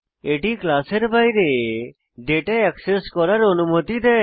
এটি ক্লাসের বাইরে ডেটা অ্যাক্সেস করার অনুমতি দেয়